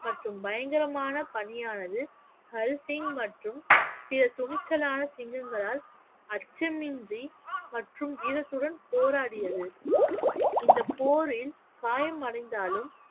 மற்றும் பயங்கரமான பணியானது ஹரி சிங் மற்றும் பிற துணிச்சலான சிங்கங்களால் அச்சமின்றி மற்றும் வீரத்துடன் போராடியது இந்தப் போரில் காயமடைந்தாலும்